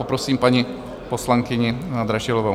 Poprosím paní poslankyni Dražilovou.